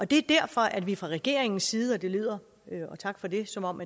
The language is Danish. det er derfor at vi fra regeringens side og det lyder tak for det som om